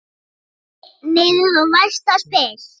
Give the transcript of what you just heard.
Einn niður og næsta spil.